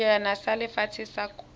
sejana sa lefatshe sa kgwele